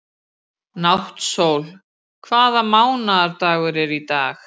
Náttsól, hvaða mánaðardagur er í dag?